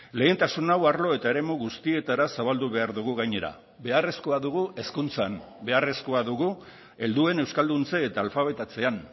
lehentasun hau arlo eta eremu guztietara zabaldu behar dugu gainera beharrezkoa dugu hezkuntzan beharrezkoa dugu helduen euskalduntze eta alfabetatzean